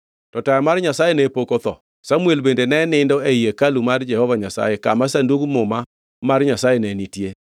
To taya mar Nyasaye ne pok otho, Samuel bende ne nindo ei hekalu mar Jehova Nyasaye, kama Sandug Muma mar Nyasaye ne nitie.